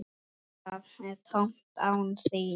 Það er tómt án þín.